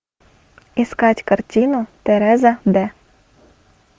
искать картину тереза д